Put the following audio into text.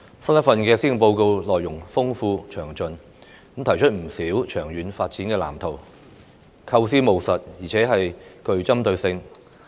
新一份施政報告內容豐富詳盡，提出不少長遠發展的藍圖，構思務實，而且具針對性。